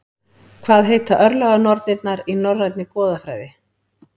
Hvað heita örlaganornirnar í Norænni goðafræði?